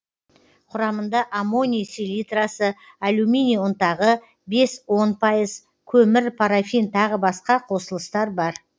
құрамында аммоний селитрасы алюминий ұнтағы бес он пайыз көмір парафин тағы басқа қосылыстар бар